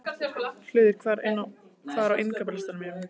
Hlöður, hvað er á innkaupalistanum mínum?